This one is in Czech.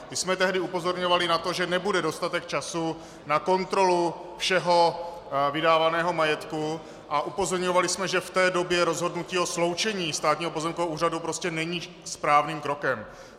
My jsme tehdy upozorňovali na to, že nebude dostatek času na kontrolu všeho vydávaného majetku, a upozorňovali jsme, že v té době rozhodnutí o sloučení Státního pozemkového úřadu prostě není správným krokem.